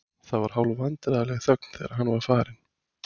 Það var hálfvandræðaleg þögn þegar hann var farinn.